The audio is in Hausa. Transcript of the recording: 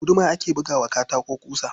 Da guduma ake buga wa katako ƙusa.